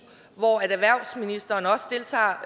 hvor erhvervsministeren også deltager